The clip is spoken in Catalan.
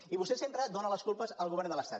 i vostè sempre en dóna les culpes al govern de l’estat